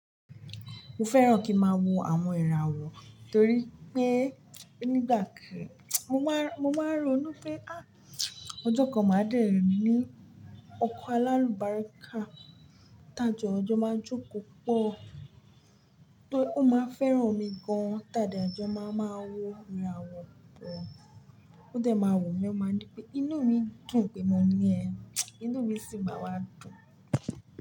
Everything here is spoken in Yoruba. Mo fẹ́ràn kí n máa wo àwọn ìràwọ̀ torí pé nígbà kan mo máa ń ronú pé ah ọjọ́ kan máa dẹ̀rẹ̀ ní ọkọ alálùbáríkà, táa jọ̀wọ̀ jọ máa jókòó pọ̀ tó máa fẹ́ràn mi gan, táa dẹ́ jọ máa máa wo ìràwọ̀ pọ̀, ó dẹ̀ máa wò mí, ó máa ní pé inú mi dùn pé mo ní ẹ, inú mi sì máa wá dùn.